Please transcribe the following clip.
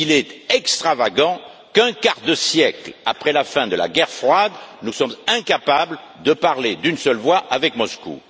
Il est extravagant qu'un quart de siècle après la fin de la guerre froide, nous soyons incapables de parler d'une seule voix avec Moscou.